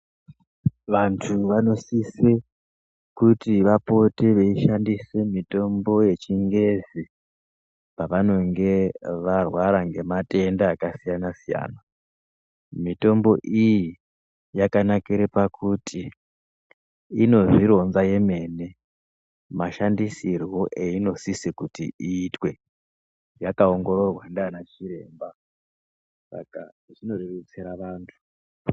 Vantu vanosise kuti vapote veyishandise mitombo yeChiNgezi pavanonge varwara ngematenda akasiyana siyana. Mitombo iyi yakanakire pakuti inozvironza yemene mashandisirwo einosise kuti iitwe. Yakaongororwa ndiana chiremba saka zvinodetsera vantu.